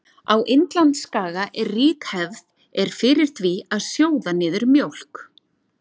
Á Indlandsskaga er rík hefð er fyrir því að sjóða niður mjólk.